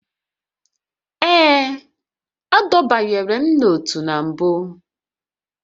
Ee, adọbanyela m n'otu na mbụ